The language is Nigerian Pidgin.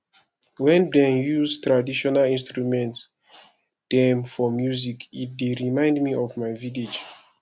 wen dem use traditional instrument dem for music e dey remind me of my village